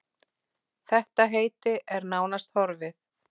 Þetta heiti er nánast horfið.